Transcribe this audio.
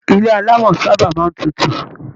Ilé alámọ̀ sábà máa n tútù.